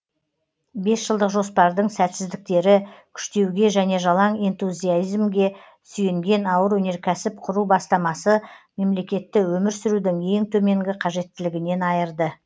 бесжылдық жоспардың сәтсіздіктері күштеуге және жалаң энтузиазмге сүйенген ауыр өнеркәсіп құру бастамасы мемлекетті өмір сүрудің ең төменгі қажеттілігінен айырды